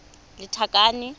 lethakane